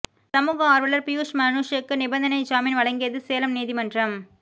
சமூக ஆர்வலர் பியூஸ் மனுஷுக்கு நிபந்தனை ஜாமீன் வழங்கியது சேலம் நீதிமன்றம்